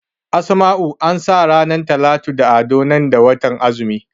Asma'u ansa ranar Talatu da Ado nan da watan azumi